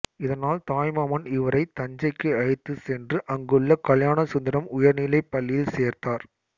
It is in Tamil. இதனால் தாய்மாமன் இவரை தஞ்சைக்கு அழைத்துச் சென்று அங்குள்ள கல்யாணசுந்தரம் உயர்நிலைப் பள்ளியில் சேர்த்தார்